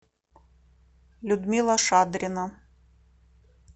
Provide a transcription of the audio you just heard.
людмила шадрина